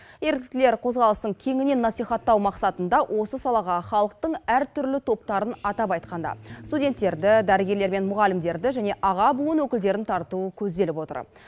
еріктілер қозғалысын кеңінен насихаттау мақсатында осы салаға халықтың әртүрлі топтарын атап айтқанда студенттерді дәрігерлер мен мұғалімдерді және аға буын өкілдерін тарту көзделіп отыр